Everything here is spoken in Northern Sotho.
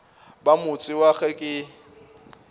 ba motse wa ge ke